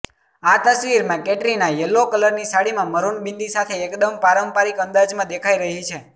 આ તસવીરમાં કેટરીના યલો કલરની સાડીમાં મરૂન બિંદી સાથે એકદમ પારંપારિક અંદાજમાં દેખાઈ રહી છે